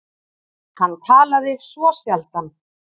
Hann talaði svo sjaldan.